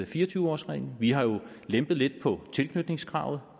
fire og tyve årsreglen vi har jo lempet lidt på tilknytningskravet